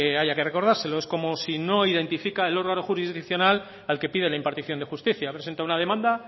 haya que recordárselo es como si no identifica el órgano jurisdiccional al que pide la impartición de justicia presenta una demanda